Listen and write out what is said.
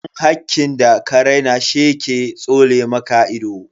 Dan hakkin da ka raina she ke tsole maka ido.